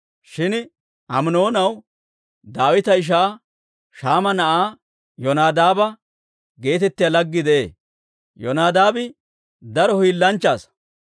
Shin Aminoonaw Daawita ishaa Shaama na'aa Yonadaaba geetettiyaa laggii de'ee; Yonadaabi daro hiilanchcha asaa.